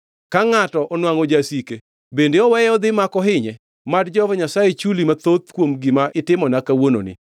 Ka ngʼato onwangʼo jasike, bende oweye odhi ma ok ohinye? Mad Jehova Nyasaye chuli mathoth kuom gima itimona kawuononi.